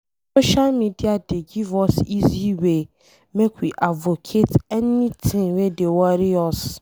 Social media dey give us easy way make we advocate anything wey dey worry us.